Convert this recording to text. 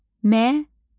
Məna.